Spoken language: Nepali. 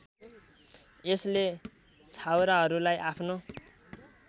यसले छाउराहरूलाई आफ्नो